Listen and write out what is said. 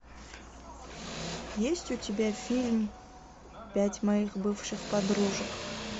есть у тебя фильм пять моих бывших подружек